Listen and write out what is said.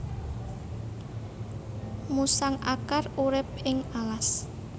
Musang akar urip ing alas